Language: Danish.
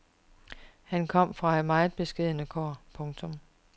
Han kom fra meget beskedne kår. punktum